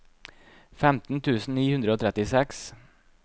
femten tusen ni hundre og trettiseks